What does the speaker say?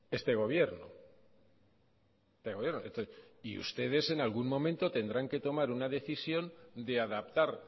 este gobierno y ustedes en algún momento tendrán que tomar una decisión de adaptar